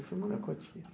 E foi morar com a tia?